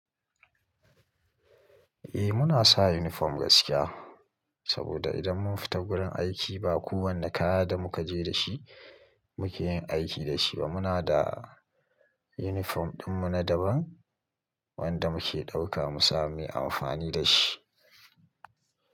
Eh muna sa uniform gaskiya saboda idan mun fita wurin aiki ba kowanne kaya da muka je da shi muke yin aiki da shi ba. Muna da uniform ɗinmu na daban wanda muke ɗauka mu sami amfani da shi.